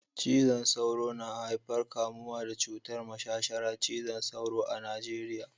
Cizon sauro na haifar kamuwa da cutar mashashara cizon sauro a Najeriya